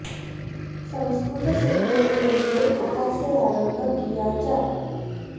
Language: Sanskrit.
संस्कृत सीखने के लिए कहाँ से आरम्भ किया जाय